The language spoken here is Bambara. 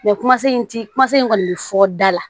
kuma se in ti kuma se in kɔni bɛ fɔ da la